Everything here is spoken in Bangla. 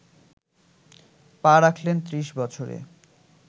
পা রাখলেন ত্রিশ বছরে